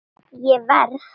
Ég verð!